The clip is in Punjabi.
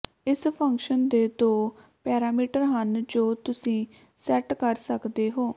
ਇਸ ਫੰਕਸ਼ਨ ਦੇ ਦੋ ਪੈਰਾਮੀਟਰ ਹਨ ਜੋ ਤੁਸੀਂ ਸੈਟ ਕਰ ਸਕਦੇ ਹੋ